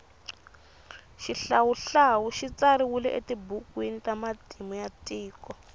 shihlawuhlawu shitsariwile etibhukuwini tamatimu yatiko